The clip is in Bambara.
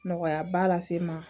Nɔgɔya ba lase n ma